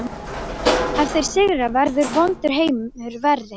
Ef þeir sigra verður vondur heimur verri